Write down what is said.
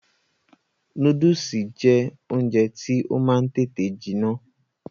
Núdùsì jẹ́ oúnjẹ tí ó máa ń tètè jiná